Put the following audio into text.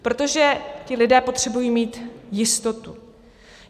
Protože ti lidé potřebují mít jistotu.